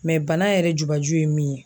bana yɛrɛ jubaju ye min ye